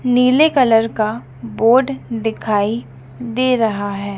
नीले कलर का बोर्ड दिखाई दे रहा है।